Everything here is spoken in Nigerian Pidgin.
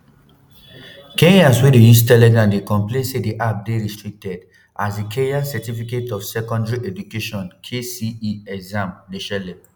kenyans wey dey use telegram dey complain say di app dey restricted as di kenya certificate of secondary education kcse exams dey shele